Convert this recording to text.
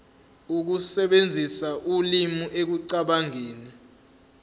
ukusebenzisa ulimi ekucabangeni